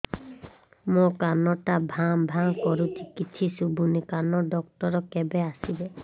ମୋ କାନ ଟା ଭାଁ ଭାଁ କରୁଛି କିଛି ଶୁଭୁନି କାନ ଡକ୍ଟର କେବେ ଆସିବେ